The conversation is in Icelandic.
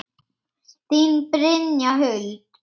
Þín, Brynja Huld.